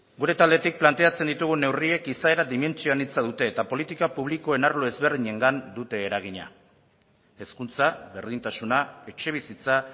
gure taldetik planteatzen ditugun neurriek izaera dimentsio anitza dute eta politika publikoen arlo ezberdinengan dute eragina hezkuntza berdintasuna etxebizitza